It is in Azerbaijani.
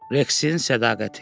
Reksin sədaqəti.